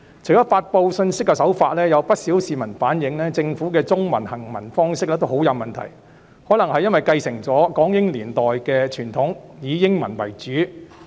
除了發布信息的手法，有不少市民反映政府的中文行文很有問題，可能是因為繼承了港英年代的傳統，以英文為主。